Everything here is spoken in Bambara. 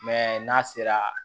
n'a sera